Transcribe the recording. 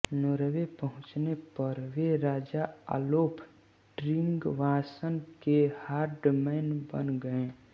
Norway पहुचने पर वे राजा ओलाफ़ ट्रिगवासन के हर्डमैन बन गये